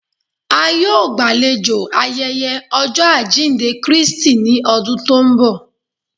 A yọ̀ọ́ gbálẹ̀jọ́ ayéyé ojọ́ ajíndẹ̀ Kristì ní ọ̀dún tó nbọ̀